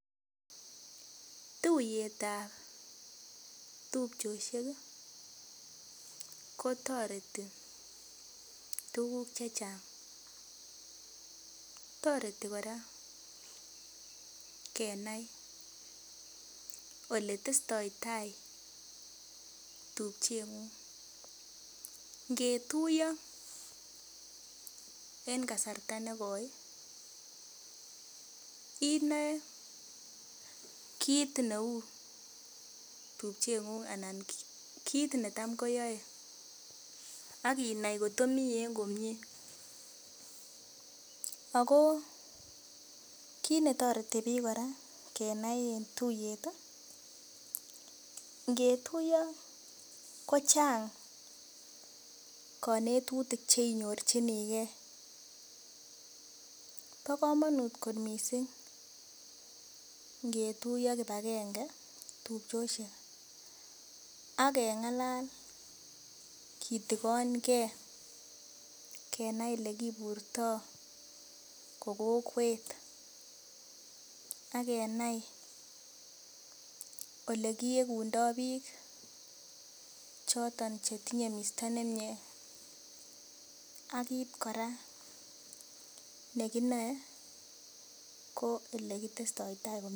Tuyet ap tupchosiek kotoreti tukuk che chang toreti kora kenai oletestoi tai tupchengung ngetuyo eng kasarta nekoi inoe kiit neu tupchengung anan ko kiit neyoi akinai kotkomi eng komie ako kiit netoreti biik kora kenai eng tuiyet ngetuyo kochang konetutik cheinyorchinigei kobo komonut kot mising ngetuyo kibakenge tupchosiek akengalal kitikonkei kenai olekiburtoi ko kokwet akenai olekiekundoi biik choton chetinyei misto nemie akot kora nekinoe ko elekitestoi tai.